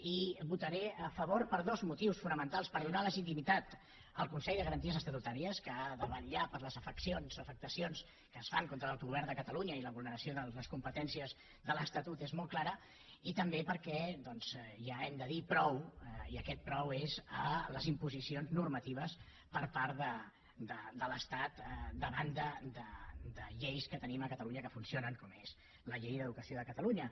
i hi votaré a favor per dos motius fonamentals per donar legitimitat al consell de garanties estatutàries que ha de vetllar per les afeccions o afectacions que es fan contra l’autogovern de catalunya i la vulneració de les competències de l’estatut és molt clara i també perquè doncs ja hem de dir prou i aquest prou és a les imposicions normatives per part de l’estat davant de lleis que tenim a catalunya que funcionen com és la llei d’educació de catalunya